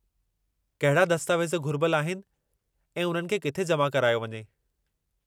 कहिड़ा दस्तावेज़ घुरिबलु आहिनि ऐं उन्हनि खे किथे जमा करायो वञे?